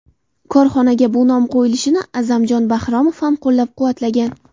Korxonaga bu nom qo‘yilishini A’zamxon Bahromov ham qo‘llab-quvvatlagan.